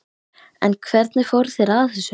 En hvernig fóru þeir að þessu?